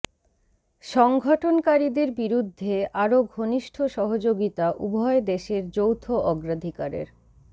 সংঘটনকারীদের বিরুদ্ধে আরও ঘনিষ্ঠ সহযোগিতা উভয় দেশের যৌথ অগ্রাধিকারের